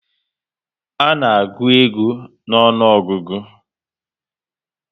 A na agụ ego n'onuogugu